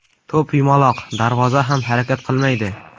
To‘p yumaloq, darvoza ham harakat qilmaydi.